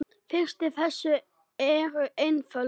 Fyrir þessu eru einföld rök.